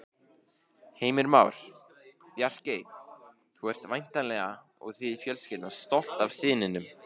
Heimir Már: Bjarkey, þú ert væntanlega og þið fjölskyldan stolt af syninum?